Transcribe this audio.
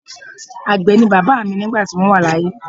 Àgbẹ̀ ni bàbá mi nígbà tí wọ́n wà láyé.